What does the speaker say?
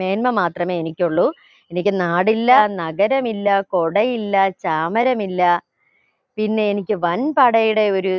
മേന്മ മാത്രമേ എനിക്കുള്ളൂ എനിക്ക് നാടില്ല നഗരമില്ല കൊടയില്ല ചാമരമില്ല പിന്നെ എനിക്ക് വൻപടയുടെ ഒര്